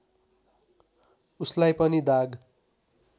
उसलाई पनि दाग